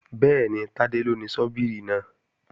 Bẹ́ẹ̀ni, Tádé ló ni ṣọ́bíìrì náà